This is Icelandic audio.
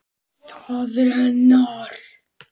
Það er hennar.